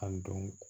An don